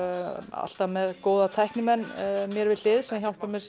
alltaf með góða tæknimenn mér við hlið sem hjálpa mér